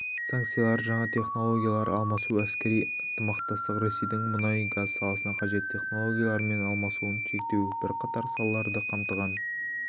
санкциялар жаңа технологиялар алмасу әскери ынтымақтастық ресейдің мұнай-газ саласына қажет технологиялармен алмасуын шектеу бірқатар салаларды қамтыған